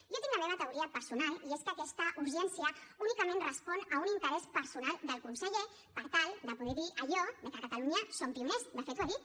jo tinc la meva teoria personal i és que aquesta urgència únicament respon a un interès personal del conseller per tal de poder dir allò de que a catalunya som pioners de fet ho ha dit